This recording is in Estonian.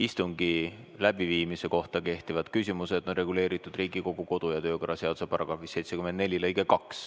Istungi läbiviimise kohta kehtivad küsimused on reguleeritud Riigikogu kodu- ja töökorra seaduse § 74 lõikes 2.